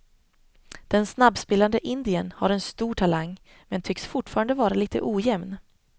Den snabbspelande indiern har en stor talang, men tycks fortfarande vara lite ojämn.